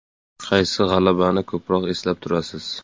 Qaysi g‘alabani ko‘proq eslab turasiz?